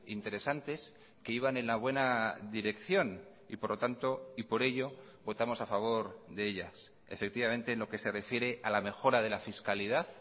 interesantes que iban en la buena dirección y por lo tanto y por ello votamos a favor de ellas efectivamente en lo que se refiere a la mejora de la fiscalidad